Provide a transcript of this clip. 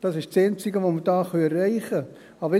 Das ist das Einzige, das wir hier erreichen können.